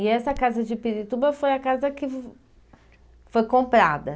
E essa casa de Pirituba foi a casa que foi comprada?